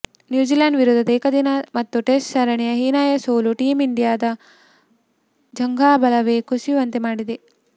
New Zealand ವಿರುದ್ಧದ ಏಕದಿನ ಮತ್ತು ಟೆಸ್ಟ್ ಸರಣಿಯ ಹೀನಾಯ ಸೋಲು ಟೀಂ ಇಂಡಿಯಾದ ಜಂಘಾಬಲವೇ ಕುಸಿಯುವಂತೆ ಮಾಡಿದೆ